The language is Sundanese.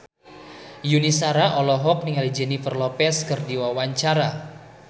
Yuni Shara olohok ningali Jennifer Lopez keur diwawancara